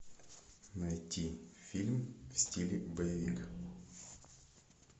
найти фильм в стиле боевик